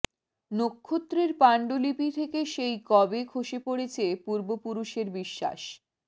নক্ষত্রের পাণ্ডুলিপি থেকে সেই কবে খসে পড়েছে পূর্ব পুরুষের বিশ্বাস